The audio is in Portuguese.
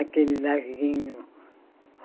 Aquele larguinho.